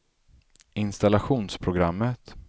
installationsprogrammet